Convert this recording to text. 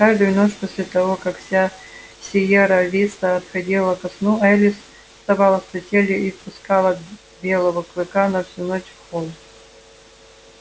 каждую ночь после того как вся сиерра виста отходила ко сну элис вставала с постели и впускала белого клыка на всю ночь в холл